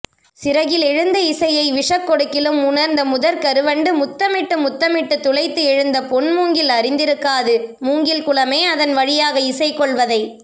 சிறகிலெழுந்த இசையை விஷக்கொடுக்கிலும் உணர்ந்த முதற்கருவண்டு முத்தமிட்டு முத்தமிட்டு துளைத்து எழுந்த பொன்மூங்கில் அறிந்திருக்காது மூங்கில்குலமே அதன் வழியாக இசைகொள்வதை